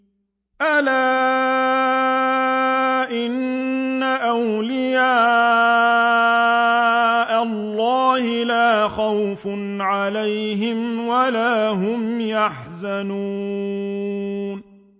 أَلَا إِنَّ أَوْلِيَاءَ اللَّهِ لَا خَوْفٌ عَلَيْهِمْ وَلَا هُمْ يَحْزَنُونَ